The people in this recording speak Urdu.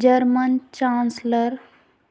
German chancellor